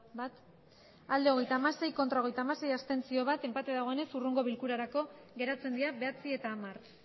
hogeita hamasei bai hogeita hamasei ez bat abstentzio enpate dagoenez hurrengo bilkurarako geratzen dira bederatzigarrena eta hamar